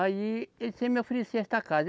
Aí, ele sempre me oferecia esta casa.